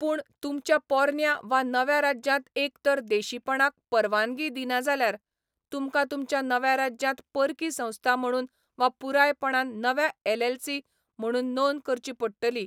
पूण, तुमच्या पोरन्या वा नव्या राज्यांत एक तर देशीपणाक परवानगी दिना जाल्यार, तुमकां तुमच्या नव्या राज्यांत परकी संस्था म्हणून वा पुरायपणान नव्या एलएलसी म्हणून नोंदणी करची पडटली.